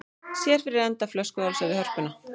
Sér fyrir enda flöskuhálsa við Hörpuna